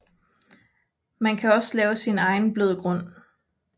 Man kan også lave sin egen blødgrund